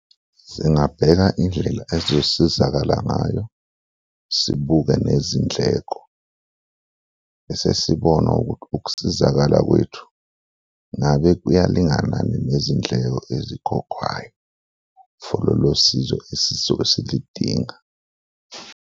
Singabheka indlela esizosizakala ngayo sibuke nezindleko bese sibona ukuthi ukusizakala kwethu ngabe kuyalinganani nezindleko ezikhokhwayo for lolo sizo esizobe silidinga.